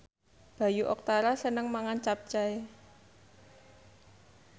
Bayu Octara seneng mangan capcay